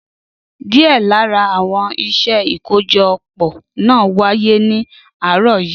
Díẹ̀ lára àwọn iṣẹ́ ìkójọpọ̀ náà wáyé ní àárọ̀ yìí.